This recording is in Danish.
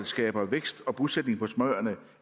skaber vækst og bosætning på småøerne